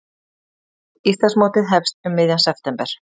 Íslandsmótið hefst um miðjan september